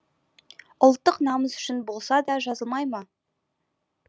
ұлттық намыс үшін болса да жазылмай ма